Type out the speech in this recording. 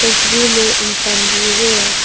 तस्वीर में इंसान भी है।